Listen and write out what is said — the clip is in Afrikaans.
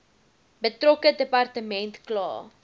betrokke departement kla